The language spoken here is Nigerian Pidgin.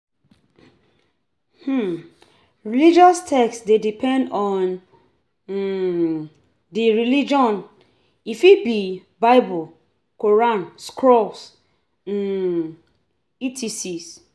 um Religious text de depend on um di religion e fit be bible, quaran, scrolls um etcs